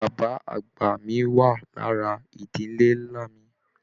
Bàbá àgbà mí wá lára ìdílé nlá mí.